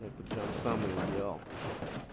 это прямо самый идеал